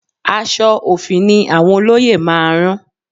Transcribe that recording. Aṣọ òfì ni àwọn olóyè máa rán